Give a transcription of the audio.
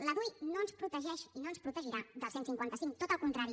la dui no ens protegeix i no ens protegirà del cent i cinquanta cinc tot al contrari